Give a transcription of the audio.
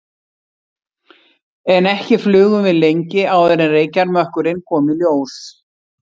En ekki flugum við lengi áður en reykjarmökkurinn kom í ljós.